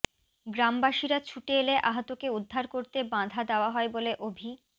গ্রামবাসীরা ছুটে এলে আহতকে উদ্ধার করতে বাঁধা দেওয়া হয় বলে অভি